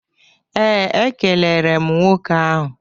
Ee, e kelere m nwoke ahụ.